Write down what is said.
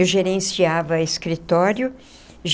Eu gerenciava escritório.